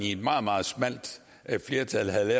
et meget meget smalt flertal havde